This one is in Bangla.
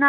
না